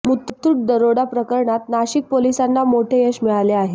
मुथूट दरोडाप्रकरणात नाशिक पोलिसांना मोठे यश मिळाले आहे